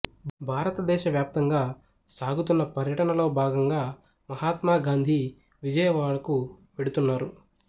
భారతదేశ వ్యాప్తంగా సాగుతున్న పర్యటనలో భాగంగా మహాత్మాగాంధీ విజయవాడకు వెడుతున్నారు